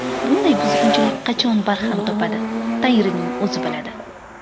Bunday buzg‘unchilik qachon barham topadi Tangrining o‘zi biladi.